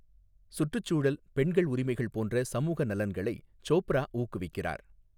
சுற்றுச்சூழல், பெண்கள் உரிமைகள் போன்ற சமூக நலன்களை சோப்ரா ஊக்குவிக்கிறார்.